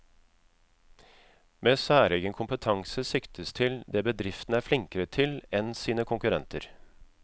Med særegen kompetanse siktes til det bedriften er flinkere til enn sine konkurrenter.